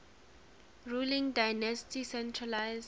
ruling dynasty centralised